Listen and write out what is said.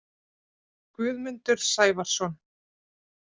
Guðmundur Sævarsson